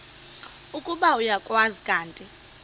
ukuba uyakwazi kanti